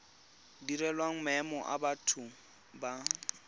direlwang maemo a batho ba